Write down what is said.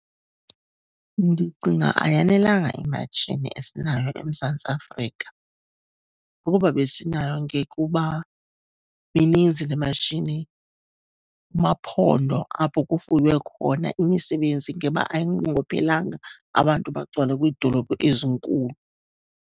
Ndicinga ayanelanga imatshini esinayo eMzantsi Afrika. Ukuba besinayo ngekuba mininzi le matshini. Kumaphondo apho kufuywe khona, imisebenzi ngeba ayinqongophelanga, abantu bagcwale kwiidolophu ezinkulu.